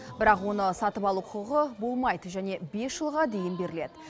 бірақ оны сатып алу құқығы болмайды және бес жылға дейін беріледі